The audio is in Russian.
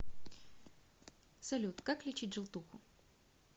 салют как лечить желтуху